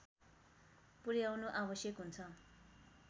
पुर्‍याउनु आवश्यक हुन्छ